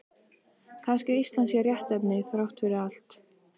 Kannski Ísland sé réttnefni þrátt fyrir allt.